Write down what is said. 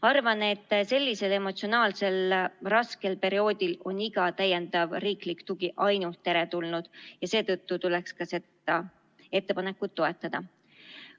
Arvan, et sellisel emotsionaalselt raskel perioodil on iga täiendav riiklik tugi ainult teretulnud ja seetõttu tuleks seda ettepanekut toetada.